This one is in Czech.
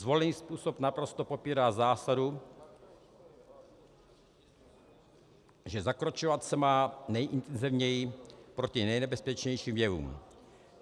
Zvolený způsob naprosto popírá zásadu, že zakročovat se má nejintenzivněji proti nejnebezpečnějším jevům.